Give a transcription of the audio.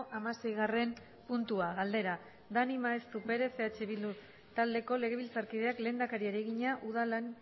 hamaseigarren puntua galdera daniel maeztu perez eh bildu taldeko legebiltzarkideak lehendakariari egina udalen